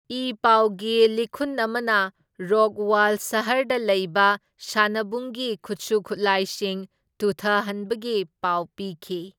E ꯄꯥꯎꯒꯤ ꯂꯤꯈꯨꯟ ꯑꯃꯅ ꯔꯣꯛꯋꯥꯜ ꯁꯍꯔꯗ ꯂꯩꯕ ꯁꯥꯟꯅꯕꯨꯡꯒꯤ ꯈꯨꯠꯁꯨ ꯈꯨꯠꯂꯥꯏꯁꯤꯡ ꯇꯨꯊꯍꯟꯕꯒꯤ ꯄꯥꯎ ꯄꯤꯈꯤ꯫